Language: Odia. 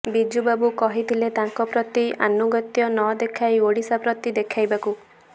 ବିଜୁ ବାବୁ କହିଥିଲେ ତାଙ୍କ ପ୍ରତି ଆନୁଗତ୍ୟ ନଦେଖାଇ ଓଡ଼ିଶା ପ୍ରତି ଦେଖାଇବାକୁ